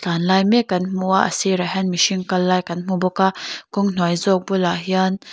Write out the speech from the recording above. chan lai mek kan hmu a sirah hian mihring kal lai kan hmu bawk a kawng hnuai zawk bulah hian--